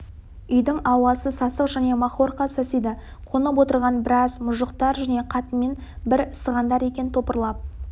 үйдің ауасы сасық және махорка сасиды қонып отырған біраз мұжықтар және қатынымен бір сығандар екен топырлап